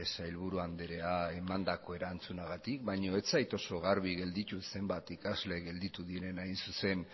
sailburu andrea emandako erantzunagatik baina ez zait oso garbi gelditu zenbat ikasle gelditu diren hain zuzen